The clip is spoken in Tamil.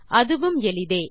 அதுவும் எளிதே